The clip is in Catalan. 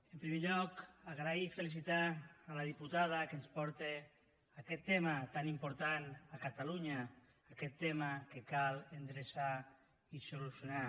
en primer lloc donar les gràcies i felicitar la diputada que ens porta aquest tema tan important a catalunya aquest tema que cal endreçar i solucionar